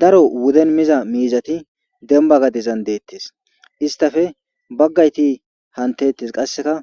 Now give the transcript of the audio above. daro wuden miza miizati denba gadezan deettes istafe baggayti hantettes qasseka